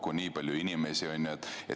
Ainult nii palju inimesi, eks ole.